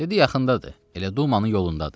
Dedi yaxındadır, elə Dumanın yolundadır.